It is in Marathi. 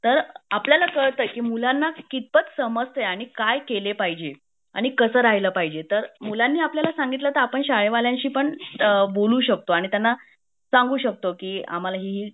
तर आपल्याला कळत की मुलांना कितपत समजते आणि काय केले पाहिजे आणि कसं राहील पाहिजे तर मुलांनी आपल्याला सांगितलं तर आपण शाळेवाल्यांशी पण आपण बोलू शकतो आणि त्यांना सांगू शकतो की आम्हाला ही ही